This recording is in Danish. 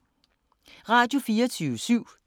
Radio24syv